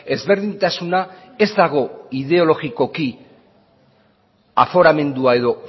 ezberdintasuna ez dago ideologikoki aforamendua edo